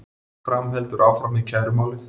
Fram heldur áfram með kærumálið